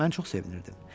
Mən çox sevinirdim.